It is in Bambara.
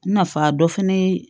Nafa dɔ fɛnɛ ye